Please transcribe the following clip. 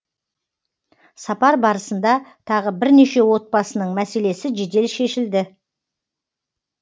сапар барысында тағы бірнеше отбасының мәселесі жедел шешілді